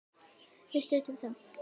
Við studdum þá!